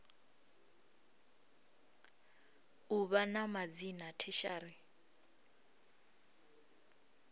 u vha na madzina tertiary